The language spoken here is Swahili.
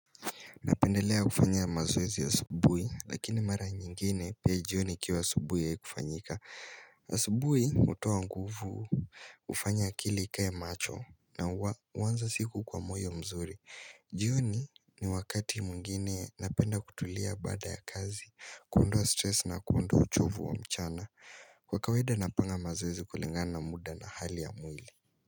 Napendelea kufanya mazoezi ya asubuhi, lakini mara nyingine pia jioni ikiwa asubuhi haikufanyika. Asubuhi hutoa nguvu hufanya akili ikae macho na huanza siku kwa moyo mzuri. Jioni ni wakati mwingine napenda kutulia baada ya kazi, kuondoa stress na kuondoa uchovu wa mchana. Kwa kawaida napanga mazoezi kulingana na muda na hali ya mwili.